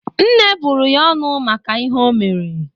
Nne bụrụ ya ọnụ maka ihe ọ mere.